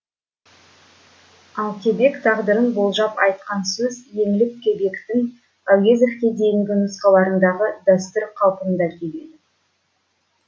ал кебек тағдырын болжап айтқан сөз еңлік кебектің әуезовке дейінгі нұсқаларындағы дәстүр қалпында келеді